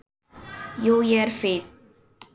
Jú, ég er fínn.